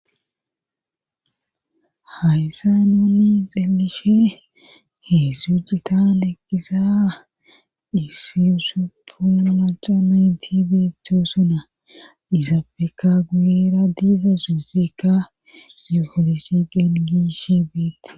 Hayssa nuuni xelishe heesszu jitan eqqisa isiyusuppu macamentibeeto suna izafeka guyera diiza suufeka yufolisi qen giishi fiitt.